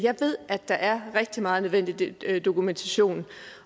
ved at der er rigtig meget nødvendig dokumentation